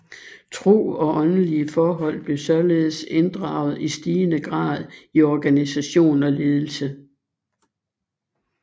Tro og åndelige forhold bliver således inddraget i stigende grad i organisation og ledelse